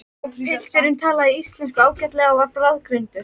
Pilturinn talaði íslensku ágætlega og var bráðgreindur.